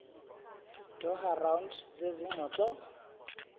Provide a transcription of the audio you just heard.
doha round zezingxoxo